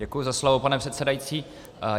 Děkuji za slovo, pane předsedající.